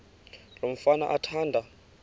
lo mfana athanda